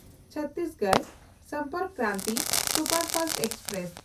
Chhattisgarh Sampark Kranti superfast express